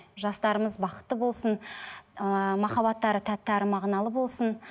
жастарымыз бақытты болсын ыыы махаббаттары тәтті әрі мағыналы болсын